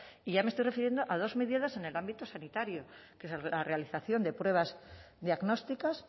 y ya me estoy refiriendo a dos medidas en el ámbito sanitario que es la realización de pruebas diagnósticas